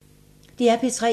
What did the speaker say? DR P3